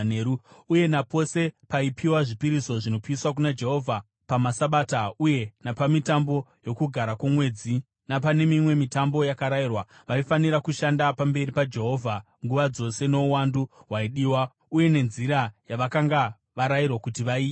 uye napose paipiwa zvipiriso zvinopiswa kuna Jehovha pamaSabata uye napamitambo yoKugara kwoMwedzi napane mimwe mitambo yakarayirwa. Vaifanira kushanda pamberi paJehovha nguva dzose nouwandu hwaidiwa uye nenzira yavakanga varayirwa kuti vaiite.